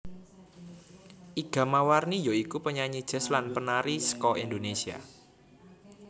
Iga Mawarni ya iku penyanyi jazz lan penari saka Indonesia